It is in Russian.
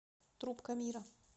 трубка мира